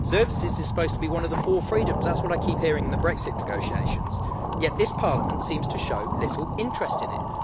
Services is supposed to be one of the four freedoms that's what I keep hearing in the Brexit negotiations yet this Parliament seems to show little interest in it.